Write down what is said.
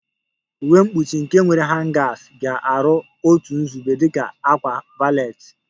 Uwe mkpuchi nke nwere hangers ga-aru otu nzube dị ka a ákwà valet